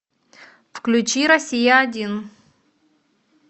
включи россия один